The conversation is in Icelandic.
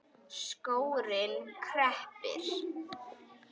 Skórinn kreppir